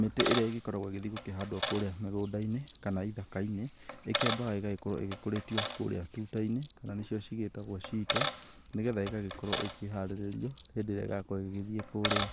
Mĩtĩ ĩrĩa ĩgĩkoragwo ĩgĩthiĩ gũkĩhandwo kũrĩa mĩgũnda-inĩ kana ithaka-inĩ, nĩ ĩkĩambaga gũgikorwo ĩgĩkũrĩtio kũria tuta-inĩ kana nĩ cio cigĩtagwo ciito. Nĩgetha ĩgakorwo ĩkĩharĩrio hĩndĩ ĩrĩa ĩrakorwo ĩgĩgĩthiĩ kũrĩa,